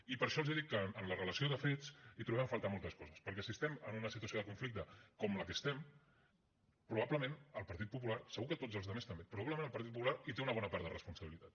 i per això els dic que en la relació de fets hi trobem a faltar moltes coses perquè si estem en una situació de conflicte com la que estem probablement el partit popular segur que tots els altres també hi té una bona part de responsabilitat